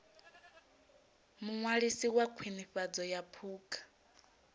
muṅwalisi wa khwinifhadzo ya phukha